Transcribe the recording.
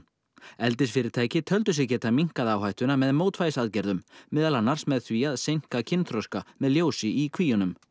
eldisfyrirtæki töldu sig geta minnkað áhættuna með mótvægisaðgerðum meðal annars með því að seinka kynþroska með ljósi í kvíunum